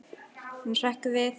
Hann hrekkur við.